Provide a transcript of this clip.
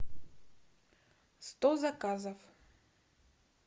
сто заказов